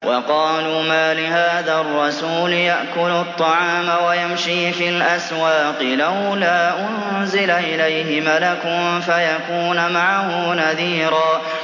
وَقَالُوا مَالِ هَٰذَا الرَّسُولِ يَأْكُلُ الطَّعَامَ وَيَمْشِي فِي الْأَسْوَاقِ ۙ لَوْلَا أُنزِلَ إِلَيْهِ مَلَكٌ فَيَكُونَ مَعَهُ نَذِيرًا